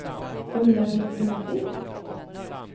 Ulla-Britt Blomqvist